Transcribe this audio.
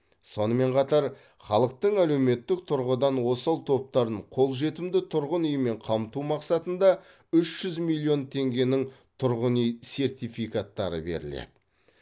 сонымен қатар халықтың әлеуметтік тұрғыдан осал топтарын қолжетімді тұрғын үймен қамту мақсатында үш жүз миллион теңгенің тұрғын үй сертификаттары беріледі